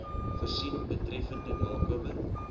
voorsien betreffende nakoming